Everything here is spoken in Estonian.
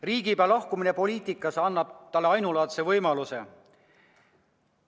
Riigipea lahkumine poliitikast annab talle ainulaadse võimaluse.